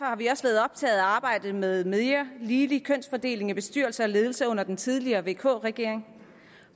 har vi også været optaget af arbejdet med mere ligelig kønsfordeling i bestyrelser og ledelser under den tidligere vk regering